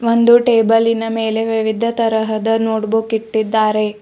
ಒಂದು ಟೇಬಲಿನ್ ಮೇಲೆ ವಿವಿಧ ತರಹದ ನೋಟ್ ಬುಕ್ ಇಟ್ಟಿದ್ದಾರೆ.